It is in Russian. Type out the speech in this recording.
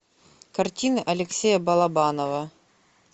картина алексея балабанова